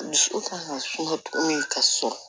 Dusu kan ka suma min ka sɔrɔ